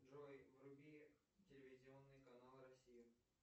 джой вруби телевизионный канал россия